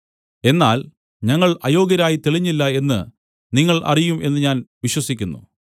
എന്നാൽ ഞങ്ങൾ അയോഗ്യരായി തെളിഞ്ഞില്ല എന്ന് നിങ്ങൾ അറിയും എന്ന് ഞാൻ വിശ്വസിക്കുന്നു